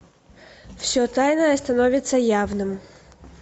все тайное становится явным